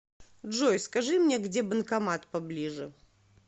джой скажи мне где банкомат поближе